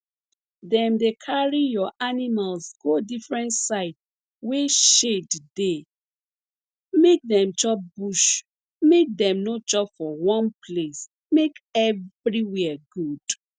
dem dey carry your animals go different side wey shade dey make dem chop bush make dem no chop for one place make everywhere good